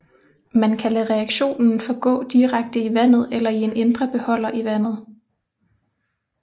Man kan lade reaktionen forgå direkte i vandet eller i en indre beholder i vandet